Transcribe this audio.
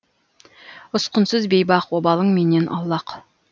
ұсқынсыз бейбақ обалың менен аулақ